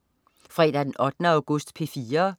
Fredag den 8. august - P4: